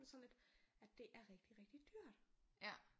Sådan lidt at det er rigtig rigtig dyrt